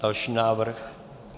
Další návrh.